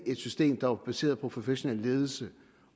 et system der er baseret på professionel ledelse